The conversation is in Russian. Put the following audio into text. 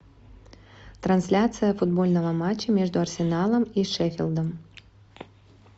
трансляция футбольного матча между арсеналом и шеффилдом